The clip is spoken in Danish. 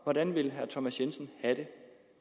hvordan vil herre thomas jensen have det